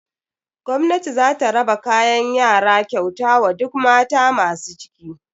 Gwamnati zata raba kayan yara kyauta wa duk mata masu ciki.